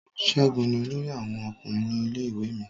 Ségun ni olórí àwọn ọkùnrin ní ilé-ìwé mi.